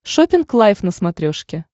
шоппинг лайв на смотрешке